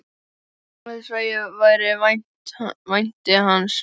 Án þess að ég vænti hans.